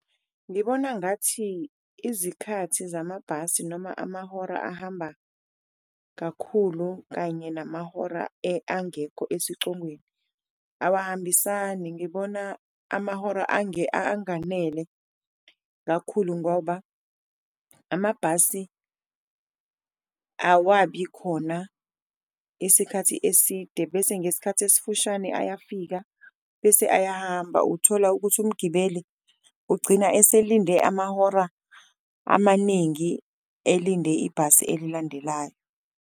Ngibona ngathi izikhathi zamabhasi noma amahora ahamba kakhulu kanye namahora angekho esicongweni awahambisani, ngibona amahora anganele kakhulu ngoba amabhasi awabi khona isikhathi eside. Bese ngesikhathi esifushane ayafika bese ayahamba, uthola ukuthi umgibeli ugcina eselinde amahora amaningi elinde ibhasi elilandelayo.